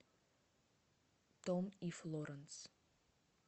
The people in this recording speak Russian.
том и флоранс